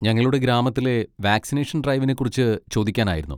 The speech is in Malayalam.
ഞങ്ങളുടെ ഗ്രാമത്തിലെ വാക്സിനേഷൻ ഡ്രൈവിനെ കുറിച്ച് ചോദിക്കാനായിരുന്നു.